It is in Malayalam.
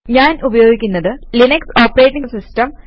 ഞാൻ ഉപയോഗിക്കുന്നത് ലിനക്സ് ഓപ്പറേറ്റിംഗ് സിസ്റ്റം